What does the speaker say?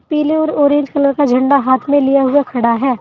पीले और orange colour का झंडा हाथ में लिया हुआ खड़ा है।